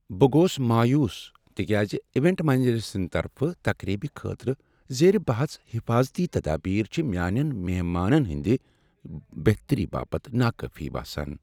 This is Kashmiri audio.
بہٕ گوس مایوس تکیاز ایونٹ منیجر سٕنٛد طرفہٕ تقریبہ خٲطرٕ زیر بحث حفاظتی تدابیر چھ میانیٚن مہمانن ہنٛدِ بہتری باپت ناکٲفی باسان۔